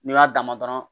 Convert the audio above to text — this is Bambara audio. N'i y'a dama dɔrɔn